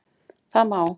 Það má